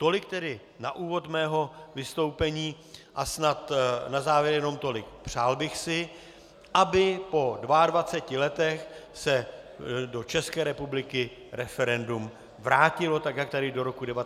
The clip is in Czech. Tolik tedy na úvod mého vystoupení a snad na závěr jenom tolik: Přál bych si, aby po 22 letech se do České republiky referendum vrátilo, tak jak tady do roku 1992 bylo.